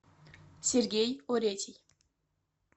сергей оретий